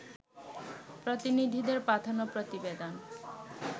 প্রতিনিধিদের পাঠানো প্রতিবেদন